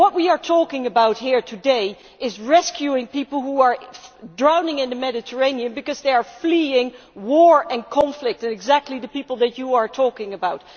What we are talking about here today is rescuing people who are drowning in the Mediterranean because they are fleeing war and conflict, and exactly the people that you are talking about